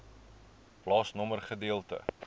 plaasnommer gedeelte